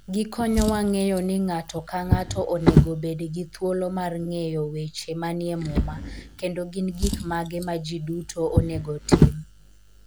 Gikonyowa ng'eyo ni ng'ato ka ng'ato onego obed gi thuolo mar ng'eyo weche manie Muma, kendo gin gik mage ma ji duto onego otim.